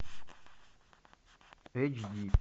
эйч ди